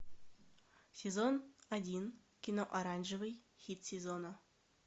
сезон один кино оранжевый хит сезона